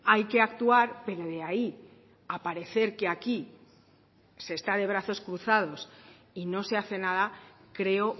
hay que actuar pero de ahí a parecer que aquí se está de brazos cruzados y no se hace nada creo